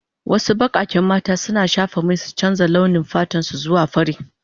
Wasu bakaken mata suna shafa mai su canza launi fatan su zuwa fari.